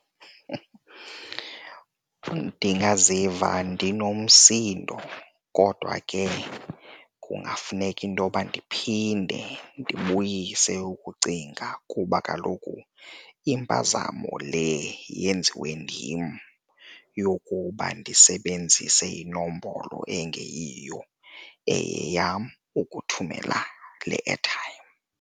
Ndingaziva ndinomsindo kodwa ke kungafuneka intoba ndiphinde ndibuyise ukucinga kuba kaloku impazamo le yenziwe ndim yokuba ndisebenzise inombolo engeyiyo eyeyam ukuthumela le airtime.